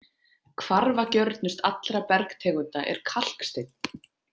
Hvarfagjörnust allra bergtegunda er kalksteinn.